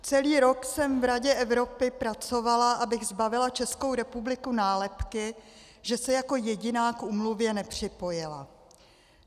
Celý rok jsem v Radě Evropy pracovala, abych zbavila Českou republiku nálepky, že se jako jediná k úmluvě nepřipojila.